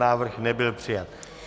Návrh nebyl přijat.